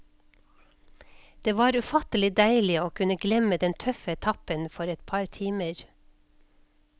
Det var ufattelig deilig å kunne glemme den tøffe etappen for et par timer.